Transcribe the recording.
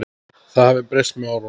Það hafi breyst með árunum.